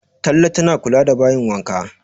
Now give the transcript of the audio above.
Talle tana kula da bayin wanka